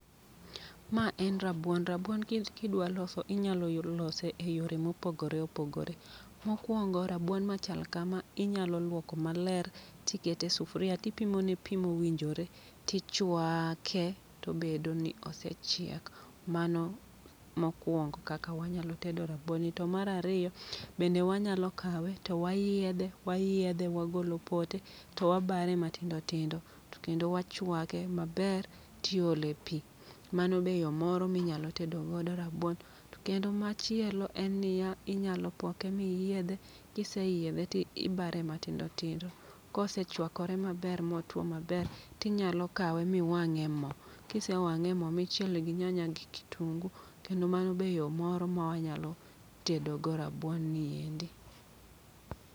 Ma en rabuon, rabuon kidwa loso inyalo lose e yore mopogore opogore. Mokwongo rabuon machal kama inyalo lwoko maler tikete e sufria, tipimone pi mowinjore. Tichwaake, tobedo ni osechiek, mano mokwongo kaka wanyalo tedo rabuon ni. To marariyo, bende wanyalo kawe to wayiedhe wayiedhe wagolo pote. To wabare matindo tindo, to kendo wachwake maber tiole pi, mano be yo moro minyalo tedo go rabuon. To kendo machielo en niya, inyalo poke miyiedhe, kiseyiedhe ti ibare matindo tindo. Kosechwakore maber motuo maber, tinyalo kawe miwang'e e mo. Kise wang'e e mo michiele gi nyanya gi kitungu, kendo mano be yo moro ma wanyalo tedogo rabuon ni endi.